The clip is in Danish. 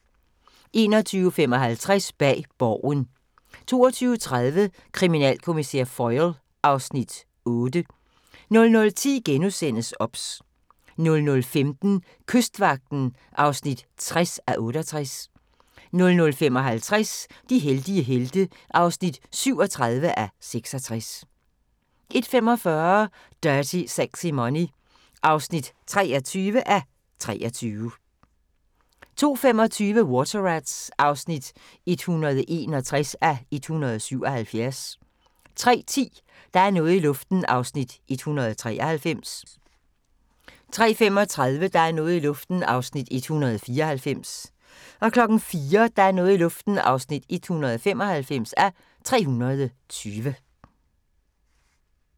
21:55: Bag Borgen 22:30: Kriminalkommissær Foyle (Afs. 8) 00:10: OBS * 00:15: Kystvagten (60:68) 00:55: De heldige helte (37:66) 01:45: Dirty Sexy Money (23:23) 02:25: Water Rats (161:177) 03:10: Der er noget i luften (193:320) 03:35: Der er noget i luften (194:320) 04:00: Der er noget i luften (195:320)